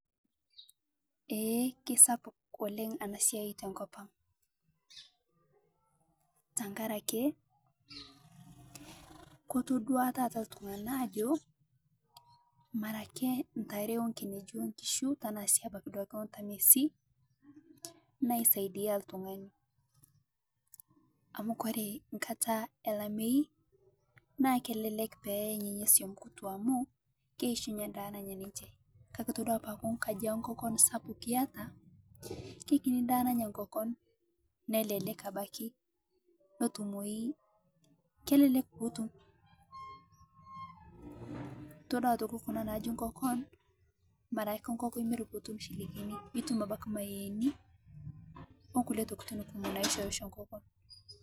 Eeh kesapuk oleng ena siai to nkopang , tang'araki kotoduaa taata ltung'ana ajoo mara ake ntaare onkinejii onkishuu tana sii abaki ontamiesi naisaidia ltung'ani. Amu kore nkaata alaamei naa kelelek pee eeng' nenia soum nkituaa amu keishunyee ndaa nenyaa ninchee. Kaki etodua paaku nkaaji enkokoon sapuk eiyataa kekinii ndaa nanyaa nkokoon nelelek abaki notuumoi, kelelek pootu. Etodua aitokii kuna najii nkokoon mara ake nkokoon imiir pii ituum shilingini ituum abaki mayieni onkulee ntokitin kumook naishorisho nkokoon.